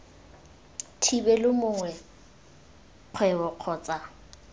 thibelwe motho mongwe kgwebo kgotsa